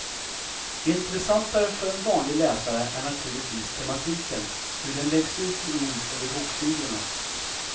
Intressantare för en vanlig läsare är naturligtvis tematiken, hur den läggs ut i ord över boksidorna.